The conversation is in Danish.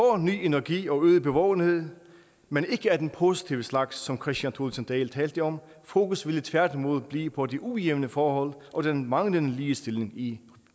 ny energi og øget bevågenhed men ikke af den positive slags som kristian thulesen dahl talte om fokus ville tværtimod blive på de ujævne forhold og den manglende ligestilling i